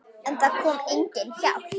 En það kom engin hjálp.